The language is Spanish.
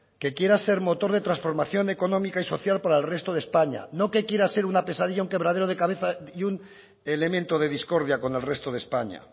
que quiera ser motor de transformación económica y social para el resto de españa no que quiera ser una pesadilla un quebradero de cabeza y un elemento de discordia con el resto de españa